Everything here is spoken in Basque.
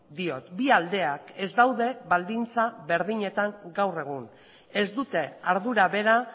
diot bi aldeak ez daude baldintza berdinetan gaur egun ez dute ardura bera